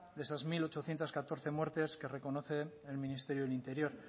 de esas mil ochocientos catorce muertes que reconoce el ministerio de interior